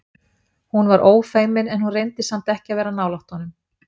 Hún var ófeimin en hún reyndi samt ekki að vera nálægt honum.